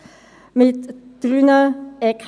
Wie legt man hier den Wert fest?